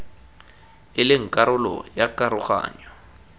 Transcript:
e leng karolo ya karoganyo